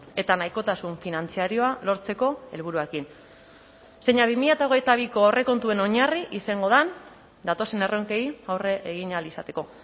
eta nahikotasun finantzarioa lortzeko helburuarekin zeina bi mila hogeita biko aurrekontuen oinarri izango den datozen erronkei aurre egin ahal izateko